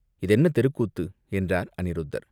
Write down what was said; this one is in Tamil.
இது என்ன தெருக்கூத்து?" என்றார் அநிருத்தர்.